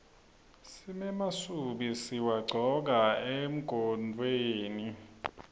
simemasubi siwagcoka emagontfweni